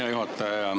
Hea juhataja!